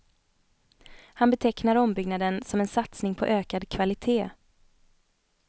Han betecknar ombyggnaden som en satsning på ökad kvalitet.